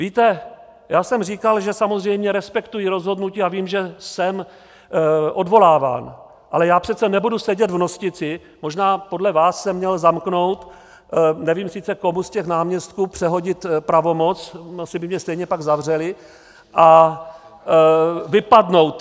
Víte, já jsem říkal, že samozřejmě respektuji rozhodnutí a vím, že jsem odvoláván, ale já přece nebudu sedět v Nostici - možná podle vás jsem měl zamknout - nevím sice, komu z těch náměstků přehodit pravomoc, asi by mě stejně pak zavřeli - a vypadnout.